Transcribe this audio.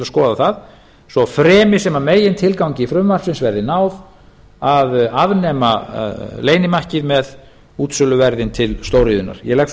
skoða það svo fremi sem megintilgangi frumvarpsins verði náð að afnema leynimakkið með útsöluverð til stóriðjunnar ég legg svo